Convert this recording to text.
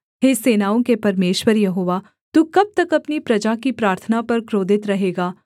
हे सेनाओं के परमेश्वर यहोवा तू कब तक अपनी प्रजा की प्रार्थना पर क्रोधित रहेगा